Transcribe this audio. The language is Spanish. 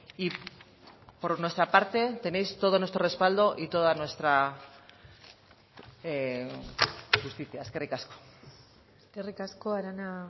y por nuestra parte tenéis todo nuestro respaldo y toda nuestra justicia eskerrik asko eskerrik asko arana